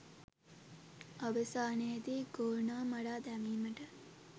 අවසානයේදී ගෝනා මරා දැමීමට